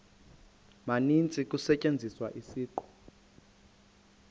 maninzi kusetyenziswa isiqu